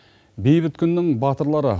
бейбіт күннің батырлары